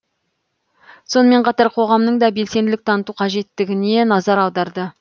сонымен қатар қоғамның да белсенділік таныту қажеттігіне назар аударды